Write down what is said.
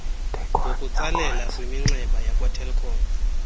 ngokutsalela kwiminxeba yakwatelkom